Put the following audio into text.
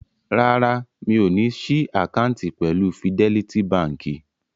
Rárá, mi ò ní ṣí àkáǹtì pẹ̀lú Fidẹ́lítí baǹkì.